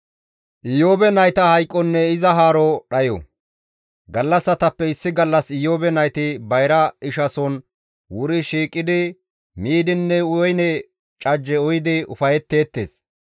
Gallassatappe issi gallas Iyoobe nayti bayra ishason wuri shiiqidi miidinne woyne cajje uyidi ufayetteettes.